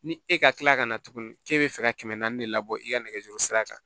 Ni e ka tila ka na tuguni k'e bɛ fɛ ka kɛmɛ naani de labɔ i ka nɛgɛso sira kan